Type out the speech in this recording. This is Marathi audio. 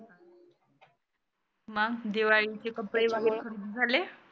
मग दिवाळीचे कपडे वगैरे खरेदी झाले?